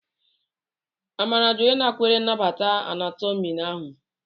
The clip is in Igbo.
Amara jụrụ ịnakwere nnabata Anatomi ahụ.